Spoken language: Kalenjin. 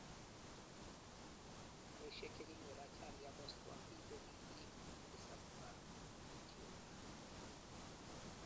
Garishek chekinyor ajali akostuan piik kokikiip Addis Ababa Ethiopia